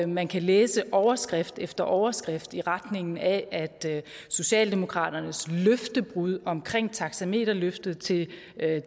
man kan læse overskrift efter overskrift i retning af at socialdemokraternes løftebrud omkring taxameterløftet til